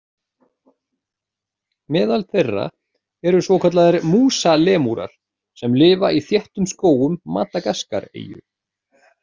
Meðal þeirra eru svokallaðir músalemúrar sem lifa í þéttum skógum Madagaskareyju.